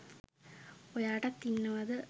ඔයාටත් ඉන්නවද